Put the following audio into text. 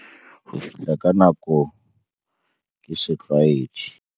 "Ho fihla ka nako ke setlwaedi."